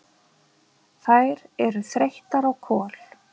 Þær eru þreyttar á Kol.